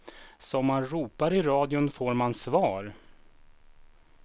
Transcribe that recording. Som man ropar i radion får man svar.